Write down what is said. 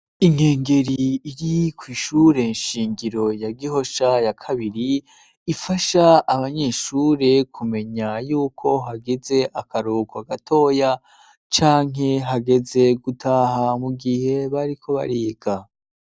Inkengeri iri kw'ishure shingiro ya Gihosha ya kabiri, ifasha abanyeshure kumenya yuko hageze akaruhuko gatoya, canke hageze gutaha mu gihe bariko bariga.